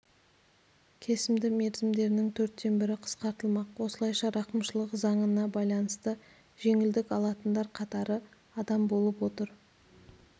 кесімді мерзімдерінің төрттен бірі қысқартылмақ осылайша рақымшылық заңына байланысты жеңілдік алатындар қатары адам болып отыр